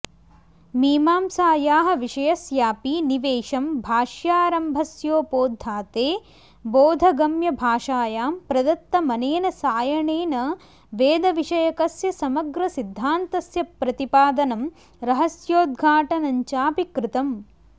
मीमांसायाः विषयस्यापि निवेशं भाष्यारम्भस्योपोद्घाते बोधगम्यभाषायां प्रदत्तमनेन सायणेन वेदविषयकस्य समग्रसिद्धान्तस्य प्रतिपादनं रहस्योद्घाटनञ्चापि कृतम्